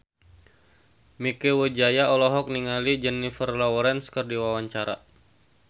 Mieke Wijaya olohok ningali Jennifer Lawrence keur diwawancara